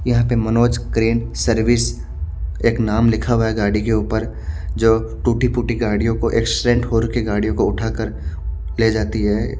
यहाँ पे Manoj crane service एक नाम लिखा हुआ है गाड़ी के ऊपर जो टूटी फूटी गाड़ीयो को एक्सीडेंट होर गाड़ियों को उठा कर ले जाती है।